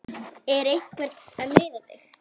Er einhver að neyða þig?